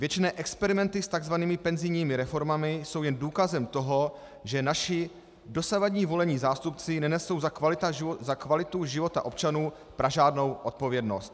Věčné experimenty s tzv. penzijními reformami jsou jen důkazem toho, že naši dosavadní volení zástupci nenesou za kvalitu života občanů pražádnou odpovědnost.